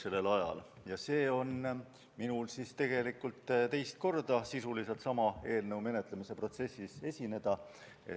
See on tegelikult minu võimalus teist korda sisuliselt sama eelnõu menetlemise protsessis esineda.